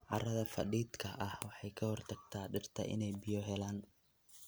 Carrada fadhiidka ah waxay ka hortagtaa dhirta inay biyo helaan.